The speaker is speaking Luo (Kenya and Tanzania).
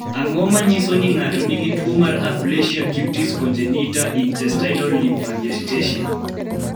Ang�o ma nyiso ni ng�ato nigi tuo mar Aplasia cutis congenita intestinal lymphangiectasia?